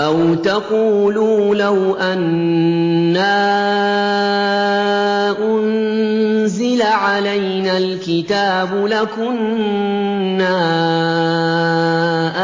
أَوْ تَقُولُوا لَوْ أَنَّا أُنزِلَ عَلَيْنَا الْكِتَابُ لَكُنَّا